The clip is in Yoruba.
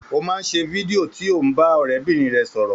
Ó máa ń ṣe fídíò tí ó ń bá ọ̀rẹ́bìnrin rẹ̀ sọ̀rọ̀